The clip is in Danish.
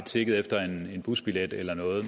tigget efter en busbillet eller noget